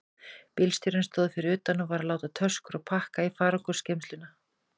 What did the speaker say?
Bílstjórinn stóð fyrir utan og var að láta töskur og pakka í farangursgeymsluna.